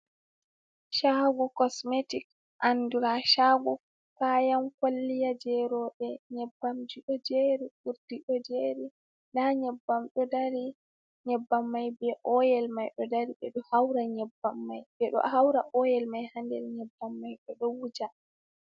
Shaago kosmetik andura shaago kayan kolliya jei rowɓe. Nyebbam ji ɗo jeri, urdi ɗo jeri nda nyebbam ɗo dari. Nyebbam mai be oyel mai ɗo dari. Ɓe ɗo haura nyebbam mai, ɓe ɗo haura oyel mai ha nder nyebbam mai be ɗo wuja.